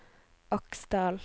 Aksdal